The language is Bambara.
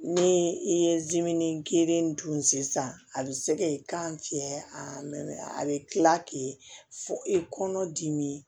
Ni i ye dimin gere dun sisan a be se k'i kan fiyɛ aa a be tila k'e fɔ i kɔnɔ dimi